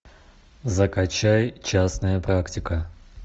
закачай частная практика